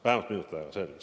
Vähemalt minut aega, selge.